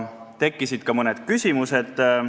Tekkisid ka mõned küsimused.